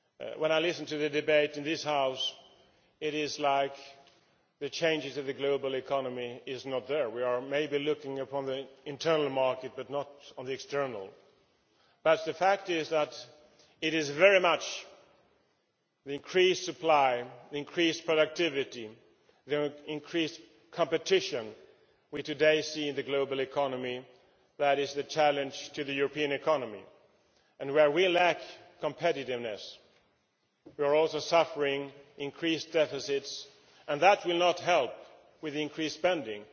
When I listen to the debate in this House, it is as if the changes in the global economy are not there we are maybe looking at the internal market but not at the external one but the fact is that it is very much the increased supply, increased productivity and increased competition we see today in the global economy that is the challenge to the European economy. Where we lack competitiveness we are also suffering increased deficits, and that will not help with the increased spending.